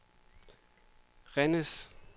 Rennes